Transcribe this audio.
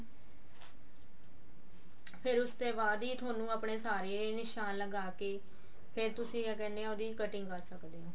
ਫੇਰ ਉਸ ਤੇ ਬਾਅਦ ਹੀ ਤੁਹਾਨੂੰ ਆਪਣੇ ਸਾਰੇ ਨਿਸ਼ਾਨ ਲਗਾਕੇ ਫੇਰ ਤੁਸੀਂ ਕਿਆ ਕਹਿੰਦੇ ਆ ਉਹਦੀ cutting ਕਰ ਸਕਦੇ ਆ